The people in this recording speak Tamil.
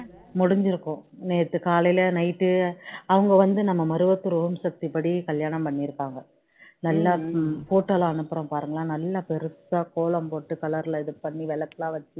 முடிஞ்சி இருக்கும் நேத்து காலையில night டு அவங்க வந்து நம்ம மருவத்தூர் ஓம் சக்தி படி கல்யாணம் பண்ணியிருப்பாங்க நல்லா இருக்கும் photos லாம் அனுப்புறேன் பாருங்க நல்லா பெருசா கோலம் போட்டு color ல இது பண்ணி விளக்குலாம் வச்சி